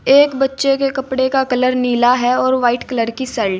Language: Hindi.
एक बच्चे के कपड़े का कलर नीला है और व्हाइट कलर की शर्ट --